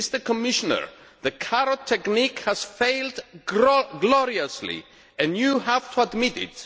Commissioner, the carrot technique has failed gloriously and you have to admit it.